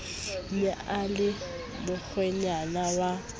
ne e le mokgwenyana wa